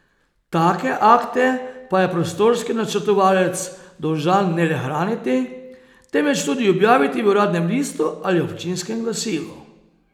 Take akte pa je prostorski načrtovalec dolžan ne le hraniti, temveč tudi objaviti v uradnem listu ali občinskem glasilu.